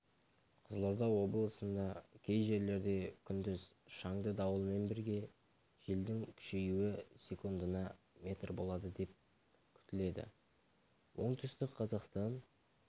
қызылорда облысында кей жерлерде күндіз шаңды дауылмен бірге желдің күшеюі секундына метр болады деп күтіледі оңтүстік-қазақстан